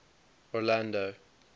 orlando